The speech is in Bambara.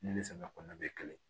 Ne ni samiya kɔnɔna bɛ kɛlɛ